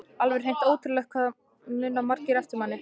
Alveg hreint ótrúlegt hvað það muna margir eftir manni!